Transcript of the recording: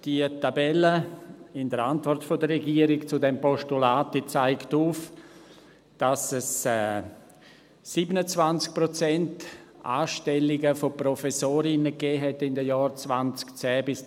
Die Tabelle in der Antwort der Regierung zu diesem Postulat zeigt auf, dass es in den Jahren 2010–2017 27 Prozent Anstellungen von Professorinnen gab.